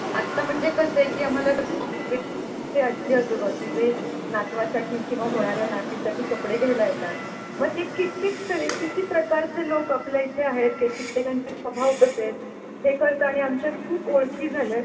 आत्ता म्हणजे कसं आहे की आम्हाला जे आजी आजोबा की जे नातवासाठी किंवा होणार् या नातीसाठी कपडे घ्यायला येतात मग ते कित्येक तरी किती प्रकारचे लोक आपल्या इथे आहेत कित्येकांचे स्वभाव कसे आहेत हे कळत आणि आमच्या खूप ओळखी झाल्यात.